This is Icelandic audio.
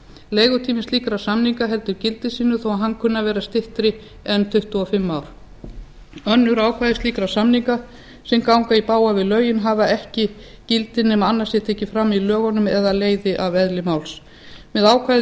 leigutími slíkra samninga heldur gildi sínu þó hann kunni að vera styttri en tuttugu og fimm ár önnur ákvæði slíkra samninga sem ganga í bága við lögin hafa ekki gildi nema annað sé tekið farm í lögunum eða leiði af eðli máls með ákvæði